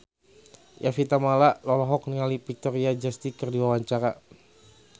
Evie Tamala olohok ningali Victoria Justice keur diwawancara